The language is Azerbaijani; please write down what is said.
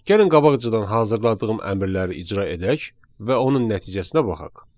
Gəlin qabaqcadan hazırladığım əmrləri icra edək və onun nəticəsinə baxaq.